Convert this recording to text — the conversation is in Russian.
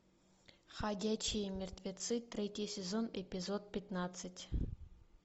ходячие мертвецы третий сезон эпизод пятнадцать